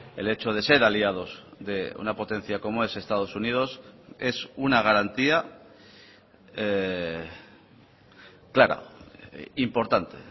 el hecho de ser aliados de una potencia como es estados unidos es una garantía clara importante